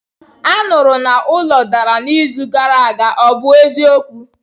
Anụrụ na ụlọ dara n'izu gara aga, ọ bụ eziokwu?